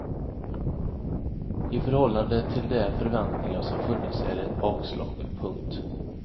I förhållande till de förväntningar som funnits är det ett bakslag. punkt